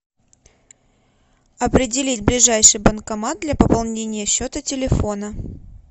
определить ближайший банкомат для пополнения счета телефона